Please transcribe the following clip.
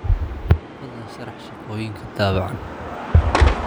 fadlan sharax shaqooyinka daabacan